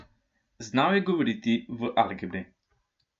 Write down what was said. Znal je govoriti v algebri.